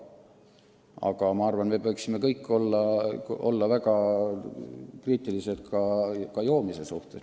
Samas ma arvan, et me võiksime kõik olla väga kriitilised ka joomise suhtes.